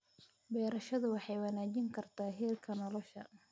Beerashadu waxay wanaajin kartaa heerka nolosha.